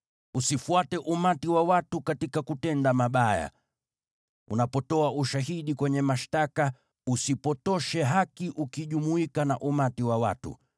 “Usifuate umati wa watu katika kutenda mabaya. Unapotoa ushahidi kwenye mashtaka, usipotoshe haki ukijumuika na umati wa watu,